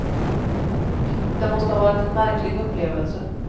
Det måste ha varit en märklig upplevelse.